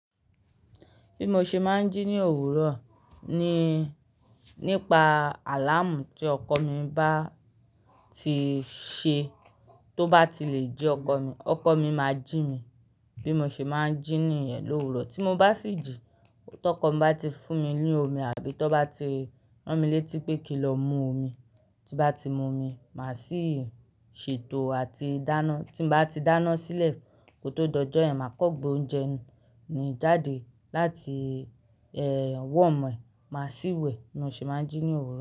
Bí mo ṣe máa ń jí ní òwúrọ̀ ni nípa àláàmù tí ọkọ mi bá ti ṣe tó bá ti lè jí ọkọ mi. Ọkọ mi máa ń jí mi bí mo ṣe máa ń jí ní yẹn l'òwúrọ̀. Tí mo bá sì jí, tọkọ mi bá ti fún mi ní omi àbí tó bá ti rán mi létí pé kí n lọ mu omi, tí bá ti mu omi, màá sì ṣètò àti dáná. Tí mo bá ti dáná sílẹ̀ kó tó dojọ́yàn, màá kọ́ gbé oúnjẹ mi jáde láti, ẹ, warm, màá sì wẹ̀. Bí mo ṣe máa ń jí ní òwúrọ̀